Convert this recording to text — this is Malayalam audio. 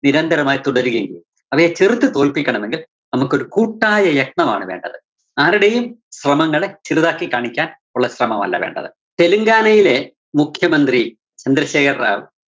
നിരന്തരമായി തുടരുകയും അവയെ ചെറുത്തു തോല്‍പ്പിക്കണമെങ്കില്‍ നമുക്കൊരു കൂട്ടായ യത്നമാണ് വേണ്ടത്. ആരടെയും ശ്രമങ്ങളെ ചെറുതാക്കി കാണിക്കാന്‍ ഉള്ള ശ്രമമല്ല വേണ്ടത്. തെലുങ്കാനയിലെ മുഖ്യമന്ത്രി ചന്ദ്രശേഖര്‍ റാവു